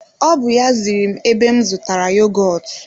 O bú ya ziri m ebe m zụtara yogọtu